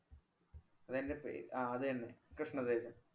അദ്ദേഹന്‍റെ പേ~ ആ അത് തന്നെ കൃഷ്ണ തേജ.